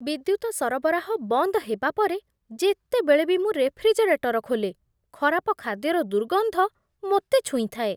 ବିଦ୍ୟୁତ ସରବରାହ ବନ୍ଦ ହେବା ପରେ ଯେତେବେଳେ ବି ମୁଁ ରେଫ୍ରିଜରେଟର ଖୋଲେ, ଖରାପ ଖାଦ୍ୟର ଦୁର୍ଗନ୍ଧ ମୋତେ ଛୁଇଁଥାଏ।